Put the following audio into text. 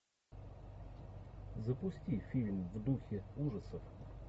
запусти фильм в духе ужасов